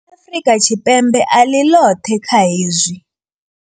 Afrika Tshipembe a ḽi ḽoṱhe kha hezwi.